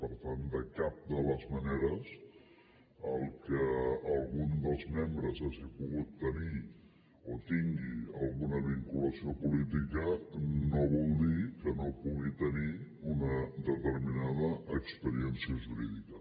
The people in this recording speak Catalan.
per tant de cap de les maneres que algun dels membres hagi pogut tenir o tingui alguna vinculació política no vol dir que no pugui tenir una determinada experiència jurídica